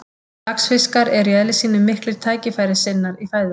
Laxfiskar eru í eðli sínu miklir tækifærissinnar í fæðuvali.